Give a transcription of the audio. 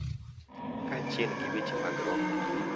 Kaachiel gi weche mag roho, .